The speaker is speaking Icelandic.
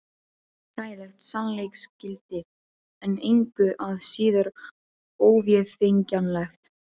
Hræðilegt sannleiksgildi, en engu að síður óvéfengjanlegt.